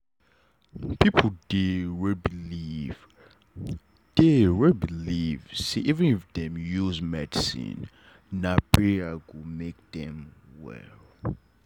people dey wey believe dey wey believe say even if dem use medicine na prayer go make dem well.